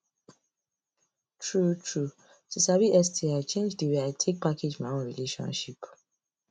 true true to sabi sti change the way i take package my own relationship